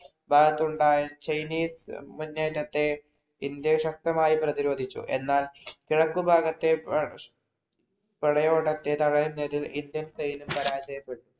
ഭാഗത്തുണ്ടായ Chinese മുന്നേറ്റത്തെ India ശക്തമായി പ്രതിരോധിച്ചു. എന്നാൽ കിഴക്കുഭാഗത്തെ പടയോട്ടത്തെ തടയുന്നതില്‍ ഇന്ത്യൻ സൈന്യം പരാജയപെട്ടു.